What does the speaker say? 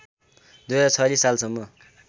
२०४६ सालसम्म